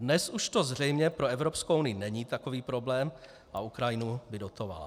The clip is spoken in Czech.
Dnes už to zřejmě pro Evropskou unii není takový problém a Ukrajinu by dotovala.